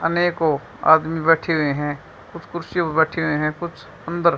अनेको आदमी बैठे हुए है कुछ कुर्सी पर बैठे हुए है कुछ अंदर--